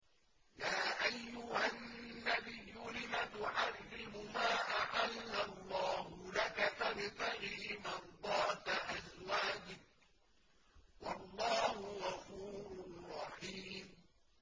يَا أَيُّهَا النَّبِيُّ لِمَ تُحَرِّمُ مَا أَحَلَّ اللَّهُ لَكَ ۖ تَبْتَغِي مَرْضَاتَ أَزْوَاجِكَ ۚ وَاللَّهُ غَفُورٌ رَّحِيمٌ